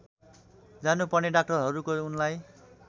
जानुपर्ने डाक्टरहरूको उनलाई